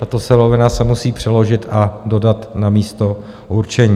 Tato surovina se musí přeložit a dodat na místo určení.